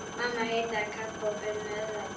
Mamma hitaði kakó og bauð meðlæti.